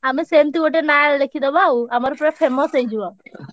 ଆମେ ସେମତି ଗୋଟେ ନାଁ ଲେଖିଦବା ଆଉ ଆମର ପୁରା famous ହେଇଯିବ।